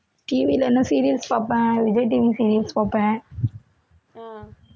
TV ல என்ன serials பார்ப்பேன் விஜய் TV serials பார்ப்பேன்